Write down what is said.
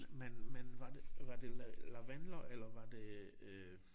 Men men var det var det lavendler eller var det øh